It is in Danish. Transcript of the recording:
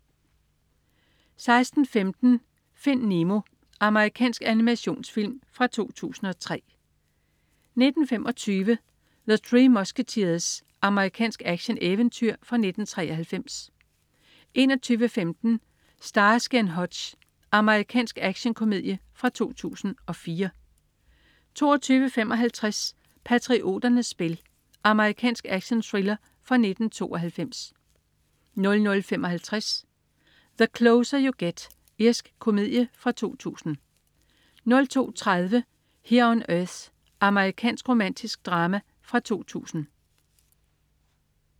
16.15 Find Nemo. Amerikansk animationsfilm fra 2003 19.25 The Three Musketeers. Amerikansk actioneventyr fra 1993 21.15 Starsky & Hutch. Amerikansk actionkomedie fra 2004 22.55 Patrioternes spil. Amerikansk actionthriller fra 1992 00.55 The Closer You Get. Irsk komedie fra 2000 02.30 Here on Earth. Amerikansk romantisk drama fra 2000